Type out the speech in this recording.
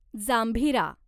जांभीरा